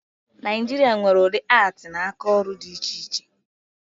Naịjiria nwere udị atii na aka ọrụ dị iche iche